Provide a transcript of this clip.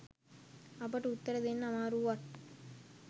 අපට උත්තර දෙන්න අමාරු වුවත්